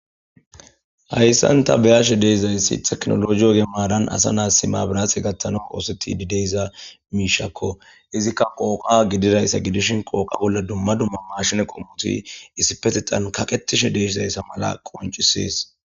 Hayssanta beyashe deesizayssi teknologiyo gemaaran asa naas simaabirase gattano qooseti di deeza miishakko izikka qooqa gididayssa gidishin qooqa bolla dumma dumma mashine qommuti issipetixan kaqetishe deeshizayssa mala qoncisies